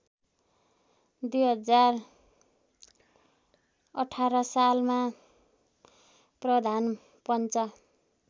२०१८ सालमा प्रधानपञ्च